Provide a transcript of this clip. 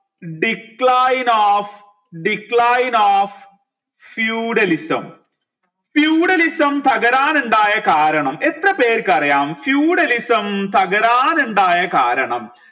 decline of decline of feudalism feudalism തകരാൻ ഉണ്ടായ കാരണം എത്രപേർക്ക് അറിയാം feudalism തകരാൻ ഉണ്ടായ കാരണം